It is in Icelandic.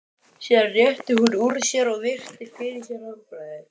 Síðan rétti hún úr sér og virti fyrir sér handbragðið.